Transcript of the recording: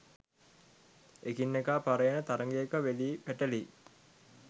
එකිනෙකා පරයන තරගයක වෙලී, පැටලී